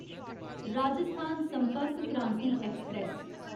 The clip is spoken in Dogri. राजस्थान संपर्क क्रांति ऐक्सप्रैस